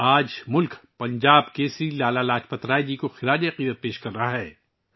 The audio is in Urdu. آج ملک پنجاب کیسری لالہ لاجپت رائے جی کو خراج عقیدت پیش کر رہا ہے